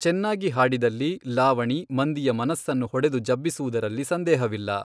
ಚೆನ್ನಾಗಿ ಹಾಡಿದಲ್ಲಿ ಲಾವಣಿ ಮಂದಿಯ ಮನಸ್ಸನ್ನು ಹೊಡೆದು ಜಬ್ಬಿಸುವುದರಲ್ಲಿ ಸಂದೇಹವಿಲ್ಲ.